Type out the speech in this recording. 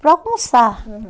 para almoçar. Aham